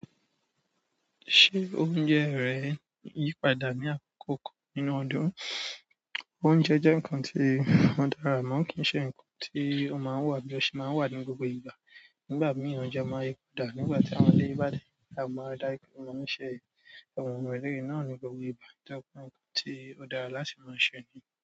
Ṣé oúnjẹ rẹ yí padà ní àkókò nínú ọdún? Oúnjẹ jẹ́ nǹkan tí ó dára amọ kín ṣe nǹkan tí ó máa wà bí ọ ṣe máa wà ní gbogbo ìgbà. Nígbà mìíràn oúnjẹ máa yí padà nígbà tí àwọn ilé ìbádàn náà máa dá ikún, wọn máa ń ṣe àwọn ohun ìléè náà ní gbogbo ìgbà, dára pọ́n nǹkan tí ó dára láti máa ṣe ni.